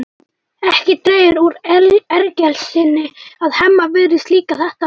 Ekki dregur úr ergelsinu að Hemma virðist líka þetta vel.